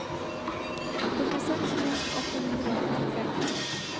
førtiseks tusen åtte hundre og nittitre